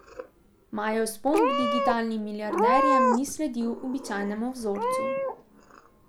Majev vzpon k digitalnim milijarderjem ni sledil običajnemu vzorcu.